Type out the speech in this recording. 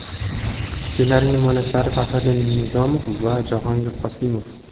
Ssenariy mualliflari Fahriddin Nizomov va Jahongir Qosimov.